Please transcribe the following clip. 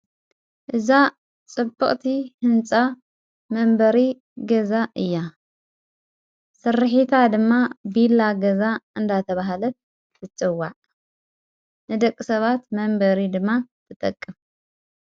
እዛ ጽቡቕቲ ሕንፃ መንበሪ ገዛ እያ። ሠርሒታ ድማ ቢላ ገዛ እንዳተብሃለት ትጽዋዐ። ንደቕ ሰባት መንበሪ ድማ ትጠቅም።